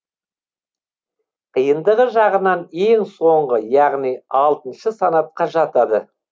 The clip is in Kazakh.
қиындығы жағынан ең соңғы яғни алтыншы санатқа жатады